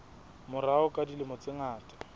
morao ka dilemo tse ngata